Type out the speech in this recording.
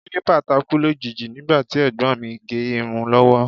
Kílípà takú lójijì nígbà tí ẹ̀gbọ́n mi ń gẹ irun lọ́wọ́